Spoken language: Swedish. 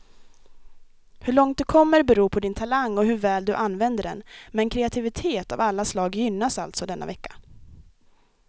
Hur långt du kommer beror på din talang och hur väl du använder den, men kreativitet av alla slag gynnas alltså denna vecka.